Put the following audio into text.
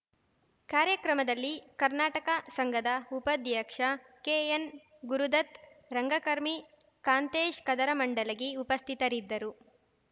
ಕಾರ್ಯಕ್ರಮದಲ್ಲಿ ಕರ್ನಾಟಕ ಸಂಘದ ಉಪಾಧ್ಯಕ್ಷ ಕೆಎನ್‌ಗುರುದತ್‌ ರಂಗಕರ್ಮಿ ಕಾಂತೇಶ್‌ ಕದರಮಂಡಲಗಿ ಉಪಸ್ಥಿತರಿದ್ದರು